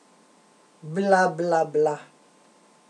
Bla, bla, bla.